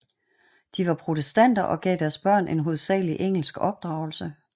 De var protestanter og gav deres børn en hovedsagelig engelsk opdragelse